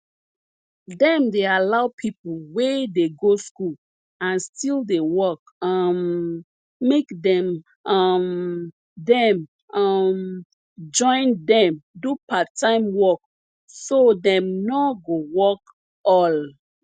dem dey allow people we dey go school and still dey work um make dem um dem um join dem do parttime work so dem nor go work all